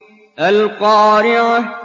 الْقَارِعَةُ